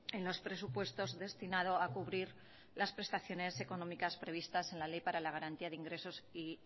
en los presupuestos destinado a cubrir las prestaciones económicas previstas en la ley para la garantía de ingresos y